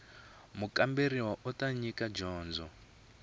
mukamberiwa u ta nyika dyondzo